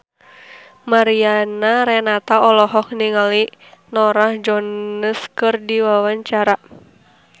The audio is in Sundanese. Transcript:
Mariana Renata olohok ningali Norah Jones keur diwawancara